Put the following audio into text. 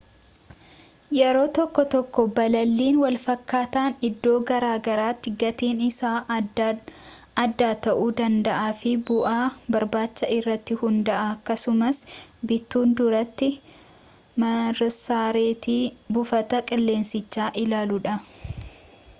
yeroo tokko tokko balaliin walfakkaataan iddoo garaagaraatti gatiin isaa adda ta'uu danda'a fi bu'aa barbaachaa irratti hundaa'a akkasumas bituun duratti marsareetti buufata qilleensichaa ilaaluudha